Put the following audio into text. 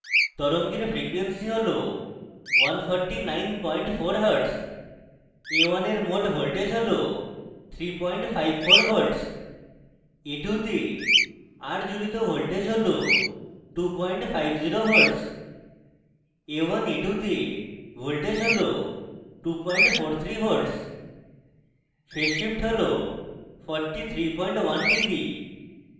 তরঙ্গের frequency হল 1494hz